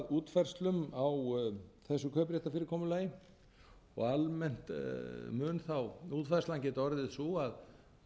nú að útfærslum á þessu kaupréttarfyrirkomulagi og almennt mun útfærslan geta orðið sú að